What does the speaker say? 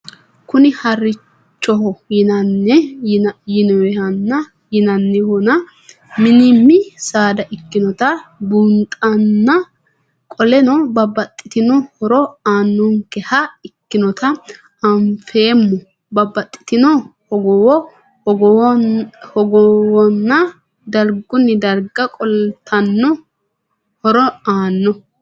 Kuni harichoho yinanihonna minim saada ikinota bunxana qoleno babaxitino hooro aanonkeha ikinota anfemo babaxitino hogowo hogowana darguni darga qolatno horo aano?